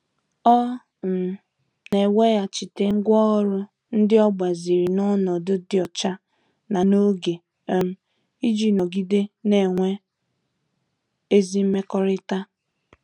Ọ um na-eweghachite ngwá ọrụ ndị o gbaziri na onodu di ocha na n'oge, um iji nọgide na-enwe ezi mmekọrịta.